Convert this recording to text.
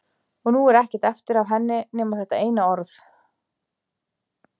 Og nú er ekkert eftir af henni nema þetta eina orð.